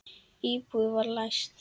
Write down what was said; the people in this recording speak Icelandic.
Íbúðin var læst.